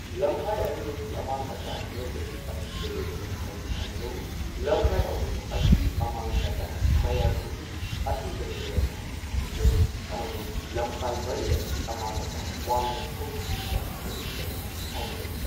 ꯂꯝꯈꯥꯏ ꯑꯅꯤ ꯑꯁꯤ ꯑꯃꯥꯡ ꯑꯇꯥ ꯅꯦꯝꯕꯒꯤ ꯑꯀꯤꯕꯥ ꯂꯩꯕ ꯂꯝꯈꯥꯢꯅꯤ ꯍꯥꯏꯅ ꯂꯧꯏ ꯂꯝꯈꯥꯏ ꯑꯍꯨꯝ ꯑꯁꯤ ꯑꯃꯥꯡ ꯑꯇꯥ ꯃꯌꯥꯏ ꯑꯣꯏꯕꯒꯤ ꯑꯀꯤꯕ ꯂꯩꯕ ꯂꯝꯈꯥꯢꯅꯤ ꯍꯥꯏꯅ ꯂꯧꯏ ꯑꯃꯁꯨꯡ ꯂꯝꯈꯥꯏ ꯃꯔꯤ ꯑꯁꯤ ꯑꯃꯥꯡ ꯑꯇꯥ ꯋꯥꯡꯅ ꯊꯣꯛꯄꯒꯤ ꯑꯀꯤꯕ ꯂꯩꯕ ꯂꯝꯈꯥꯢꯅꯤ ꯍꯥꯏꯅ ꯂꯧꯏ꯫